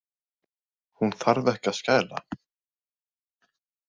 Hún þarf ekki að skæla.